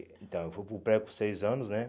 Então, eu fui para o pré com seis anos, né?